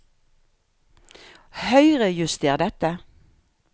Høyrejuster dette